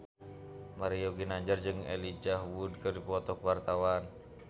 Mario Ginanjar jeung Elijah Wood keur dipoto ku wartawan